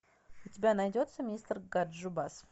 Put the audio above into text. у тебя найдется мистер ганджубас